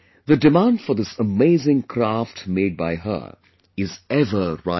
The demand for this amazing craft made by her is ever rising